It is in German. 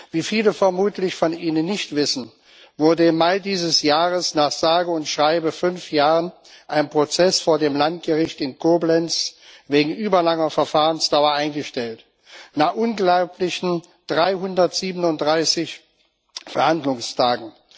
Wie viele von Ihnen vermutlich nicht wissen, wurde im Mai dieses Jahres nach sage und schreibe fünf Jahren ein Prozess vor dem Landgericht in Koblenz wegen überlanger Verfahrensdauer eingestellt nach unglaublichen 337 Verhandlungstagen.